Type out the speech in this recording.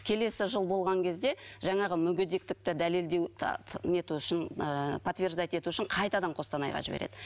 келесі жыл болған кезде жаңағы мүгедектікті дәлелдеу нету үшін ыыы потверждать ету үшін қайтадан қостанайға жібереді